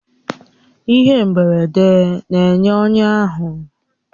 Ihe mgberede na-enye ọnya ahụ